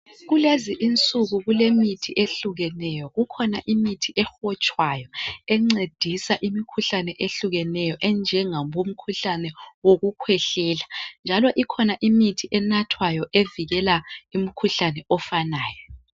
kulezi insuku kulemithi ehlukeneyo kukhona imithi ehotshwayo encedisa imikhuhlane ehlukeneyo enje ngoku khwehlela njalo ukhona imithi enathwayo evikela umkhuhlane ofanayo